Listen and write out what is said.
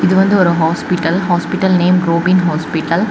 இது வந்து ஒரு hospital hospital name Robin hospital .